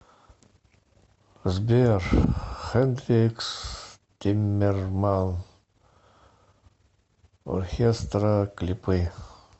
сбер хэндрикс тиммерман орхестра клипы